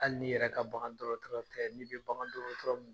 Hali n'i yɛrɛ ka bagandɔgɔtɔrɔ tɛ i bɛ bagandɔgɔtɔrɔ